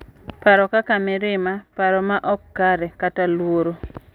Paro kaka mirima, paro ma ok kare, kata luoro